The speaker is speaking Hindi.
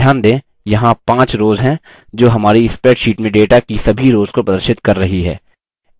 ध्यान दें यहाँ 5 rows हैं जो हमारी spreadsheet में data की सभी rows को प्रदर्शित कर रही हैं